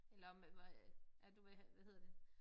Eller om hvad øh at du vil have hvad hedder det